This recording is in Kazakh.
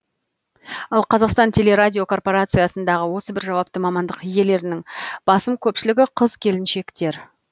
ал қазақстан телерадиокорпорациясындағы осы бір жауапты мамандық иелерінің басым көпшілігі қыз келіншектер